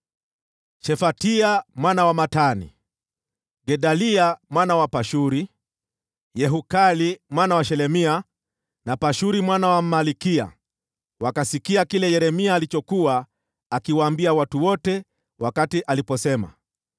Shefatia mwana wa Matani, na Gedalia mwana wa Pashuri, na Yehukali mwana wa Shelemia, na Pashuri mwana wa Malkiya wakasikia kile Yeremia alichokuwa akiwaambia watu wote wakati aliposema,